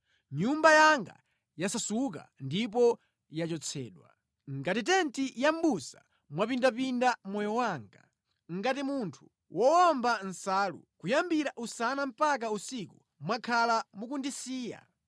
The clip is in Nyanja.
Nyumba yanga yasasuka ndipo yachotsedwa. Ngati tenti ya mʼbusa mwapindapinda moyo wanga, ngati munthu wowomba nsalu; kuyambira usana mpaka usiku mwakhala mukundisiya.